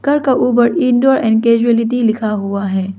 घर का ऊपर इनडोर एंड कैजुअलिटी लिखा हुआ है।